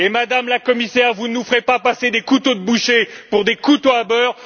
Madame la Commissaire, vous ne nous ferez pas prendre des couteaux de boucher pour des couteaux à beurre.